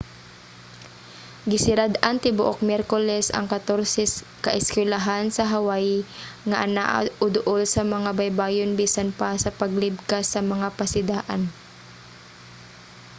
gisirad-an tibuok miyerkules ang katorse ka eskuylahan sa hawaii nga anaa o duol sa mga baybayon bisan pa sa paglibkas sa mga pasidaan